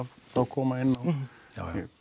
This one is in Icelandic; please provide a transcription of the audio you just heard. þá koma inn á ég